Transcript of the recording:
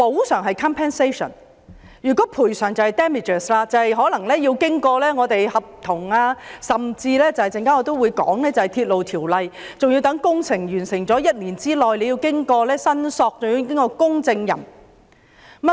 若要申索賠償，就可能涉及合約甚至我稍後提及的《鐵路條例》，還要待工程完成後1年內提出申索及由公證行核實。